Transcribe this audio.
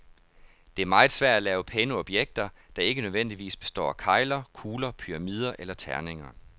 Det er meget svært at lave pæne objekter, der ikke nødvendigvis består af kegler, kugler, pyramider eller terninger.